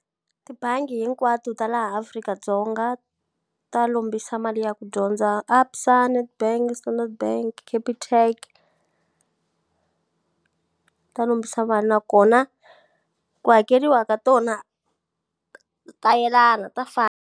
Tibangi hinkwato ta laha Afrika-Dzonga ta lombisa mali ya ku dyondza. Absa, Nedbank, Standard Bank, Capitec ta lombisa vanhu nakona, ku hakeriwa ka tona, ta yelana ta fana.